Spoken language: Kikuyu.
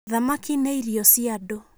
Thamaki nĩ irio cia andũ.